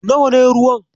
Nawa ne ruwan?